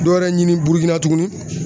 Dɔw yɛrɛ ɲini Burukina tugunni